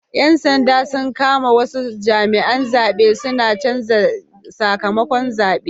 Yan sanda sun kama wasu jami'an zabe suna canza sakamakon zabe